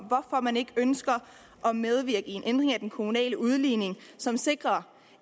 hvorfor man ikke ønsker at medvirke til en ændring af den kommunale udligning som sikrer